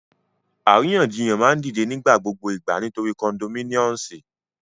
Àríyànjiyàn ma n dide ni nigbagbogbo igba nitori ti condominiumsi